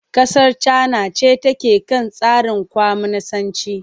Kasar Cana ce take kan tsarin kwaminisanci.